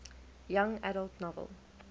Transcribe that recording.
young adult novel